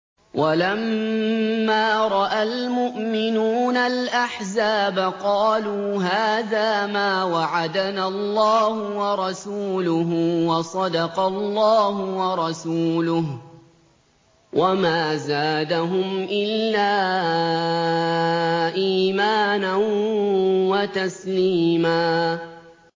وَلَمَّا رَأَى الْمُؤْمِنُونَ الْأَحْزَابَ قَالُوا هَٰذَا مَا وَعَدَنَا اللَّهُ وَرَسُولُهُ وَصَدَقَ اللَّهُ وَرَسُولُهُ ۚ وَمَا زَادَهُمْ إِلَّا إِيمَانًا وَتَسْلِيمًا